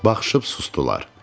Baxışıb sustular.